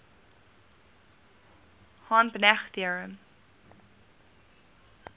hahn banach theorem